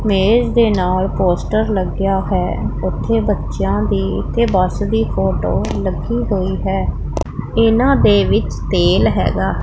ਮੇਜ ਦੇ ਨਾਲ ਪੋਸਟਰ ਲੱਗਿਆ ਹੋਇਆ ਹੈ ਉਥੇ ਬੱਚਿਆਂ ਦੀ ਤੇ ਬੱਸ ਦੀ ਫੋਟੋ ਲੱਗੀ ਹੋਈ ਹੈ ਇਹਨਾਂ ਦੇ ਵਿੱਚ ਤੇਲ ਹੈਗਾ।